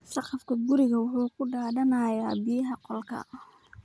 Saqafka gurigu wuxuu ku daadanayaa biyaaha qolka.